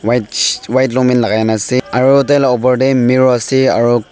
eage white longpant lakai na ase aru taila opor tae mirror ase aru--